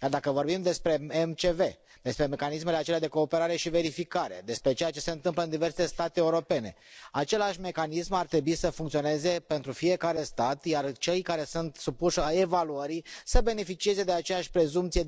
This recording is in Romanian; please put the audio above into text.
Iar dacă vorbim despre MCV, despre mecanismele acelea de cooperare și verificare, despre ceea ce se întâmplă în diverse state europene, același Mecanism ar trebui să funcționeze pentru fiecare stat, iar cei care sunt supuși evaluării să beneficieze de aceeași prezumție